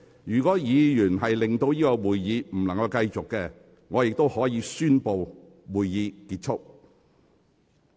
如果議員的行為令會議無法繼續，我亦可以宣布會議結束。